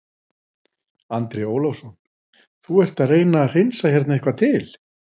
Andri Ólafsson: Þú ert að reyna að hreinsa hérna eitthvað til?